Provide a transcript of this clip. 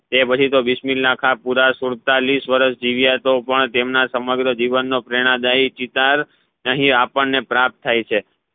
એ પછી તો બિસ્મીલાહ ખા પુરા સુડતાલીસ વરસ જીવ્યા તો પણ તેમના સમગ્ર જીવન નો પ્રેરણા દઈ ચિતલ અહીં આપણે પ્રાપ્ત થઇ છે